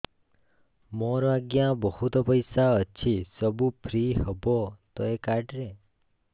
ମୋର ଆଜ୍ଞା ବହୁତ ପଇସା ଅଛି ସବୁ ଫ୍ରି ହବ ତ ଏ କାର୍ଡ ରେ